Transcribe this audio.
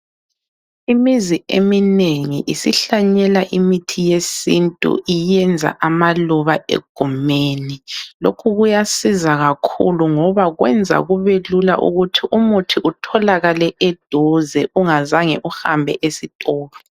Imizi eminengi isihlanyela imithi yesintu iyenza amaluba egumeni, lokhu kuyasiza kakhulu ngoba kwenza kubelula ukuthi umuthi utholakale eduze ungazange uhambe esitolo